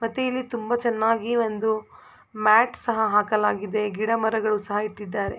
ಮತ್ತೆ ಇಲ್ಲಿ ತುಂಬಾ ಚೆನ್ನಾಗಿ ಒಂದು ಮ್ಯಾಟ್ ಸಹ ಹಾಕಲಾಗಿದೆ ಗಿಡ ಮರಗಳು ಸಹ ಇಟ್ಟಿದ್ದಾರೆ.